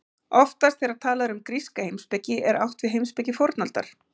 Oftast þegar talað er um gríska heimspeki er átt við heimspeki fornaldar.